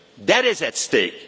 future. That is